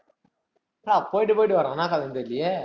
ப்பா போயிட்டு, போயிட்டு வர்றான். என்ன கதைனு தெரியலயே.